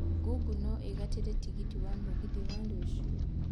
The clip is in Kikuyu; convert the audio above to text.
Google no ungatire tigiti wa mũgithi wa rũciũ